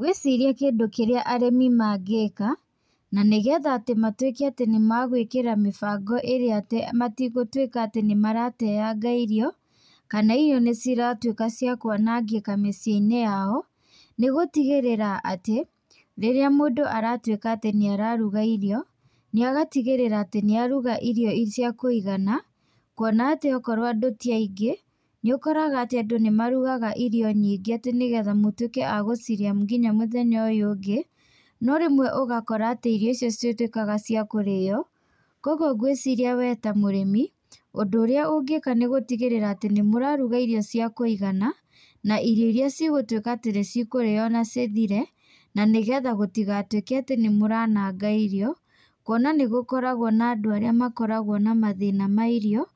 Ngwĩciria kĩndũ kĩrĩa arĩmi mangĩka, na nĩgetha atĩ matuĩke atĩ nĩ magwĩkĩra mĩbango ĩrĩa atĩ matigũtuĩka atĩ nĩ marateanga irio, kana irio nĩ ciratuĩka cia kwanangĩka mĩciĩ-inĩ yao, nĩ gũtigĩrĩra atĩ, rĩrĩa mũndũ aratuĩka atĩ nĩ araruga irio, nĩ agatigĩrĩra atĩ nĩ aruga cia kũigana, kuona atĩ okorwo andũ ti aingĩ, nĩ ũkoraga atĩ andũ nĩ marugaga irio nyingĩ atĩ nĩgetha mũtuĩke a gũcirĩa nginya mũthenya ũyũ ũngĩ. No rĩmwe ũgakora atĩ irio icio citituĩkaga cia kũrĩo. Kũguo ngwĩciria wee ta mũrĩmi, ũndũ ũrĩa ũngĩka nĩ gũtigĩrĩra atĩ nĩ mũraruga irio cia kũigana, na irio irĩa cigũtuĩka atĩ nĩ cikũrĩo na cithĩre, na nĩgetha gũtigatuĩke atĩ nĩ mũrananga irio. Kuona nĩ gũkoragwo na andũ arĩa makoragwo na mathĩna ma irio,